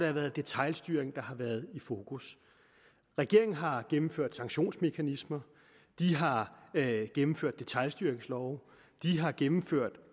har været detailstyring der har været fokus regeringen har gennemført sanktionsmekanismer de har gennemført detailstyringslove de har gennemført